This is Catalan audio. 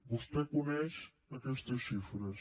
vostè coneix aquestes xifres